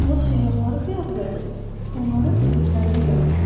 Lakin o səyyahları qəbul edib, onların dediklərini yazır.